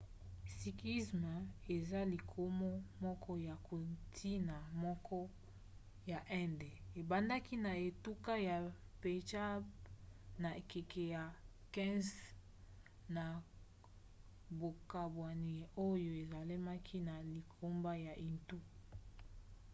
sikhisme eza lingomo moko ya kontina moke ya inde. ebandaki na etuka ya pendjab na ekeke ya 15 na bokabwani oyo esalemaki na lingomba ya hindu